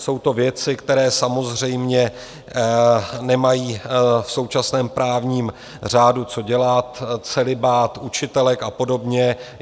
Jsou to věci, které samozřejmě nemají v současném právním řádu co dělat - celibát učitelek a podobně.